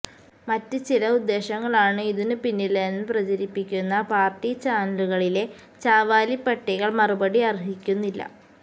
മറ്റ് ചില ഉദ്ദേശങ്ങളാണ് ഇതിനു പിന്നിലെന്ന് പ്രചരിപ്പിക്കുന്ന പാർട്ടി ചാനലുകളിലെ ചാവാലിപ്പട്ടികൾ മറുപടി അർഹിക്കുന്നില്ല